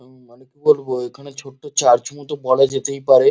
উম মানে কি বলবো এখানে ছোট্ট চার্চ মত বলা যেতেই পারে।